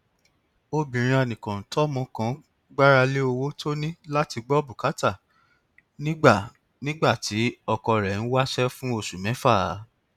obìnrin anìkàntọmọ kan gbára lé owó tó ní láti gbọ bùkátà nígbà nígbà tí ọkọ rẹ ń wáṣẹ fún oṣù mẹfà